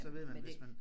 Men det